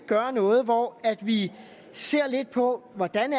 gøre noget hvor vi ser lidt på hvordan